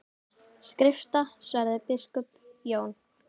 Skrifta, svaraði biskup Jón.